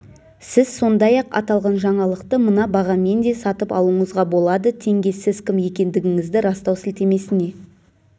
сіз сондай-ақ аталған жаңалықты мына бағамен де сатып алуыңызға болады теңге сіз кім екендігіңізді растау сілтемесіне